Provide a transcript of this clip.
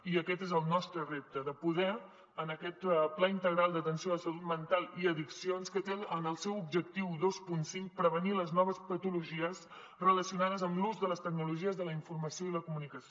i aquest és el nostre repte de poder en aquest pla integral d’atenció a la salut mental i addiccions que té en el seu objectiu vint cinc prevenir les noves patologies relacionades amb l’ús de les tecnologies de la informació i la comunicació